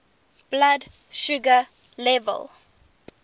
blood sugar level